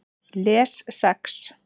Les Sex